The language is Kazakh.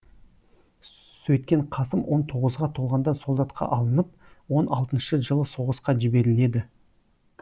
сөйткен қасым он тоғызға толғанда солдатқа алынып он алтыншы жылы соғысқа жіберіледі